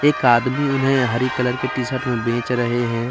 एक आदमी उन्हें हरी कलर की टी सर्ट में बेच रहे हैं।